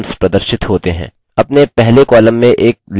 अपने पहले column में एक let लिखते हैं